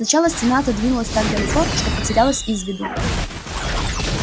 сначала стена отодвинулась так далеко что потерялась из виду